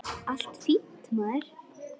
Allt fínt, maður.